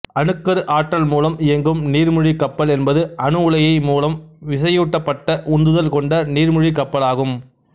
அணுக்கரு ஆற்றல் மூலம் இயங்கும் நீர்முழ்கி கப்பல் என்பது அணுஉலையை மூலம் விசையூட்டப்பட்ட உந்துதல் கொண்ட நீர்முழ்கி கப்பல் ஆகும்